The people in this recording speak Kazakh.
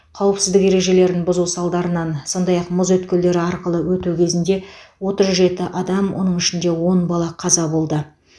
қауіпсіздік ережелерін бұзу салдарынан сондай ақ мұз өткелдері арқылы өту кезінде отыз жеті адам оның ішінде он бала қаза болды